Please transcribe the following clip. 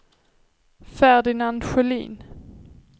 Ferdinand Sjölin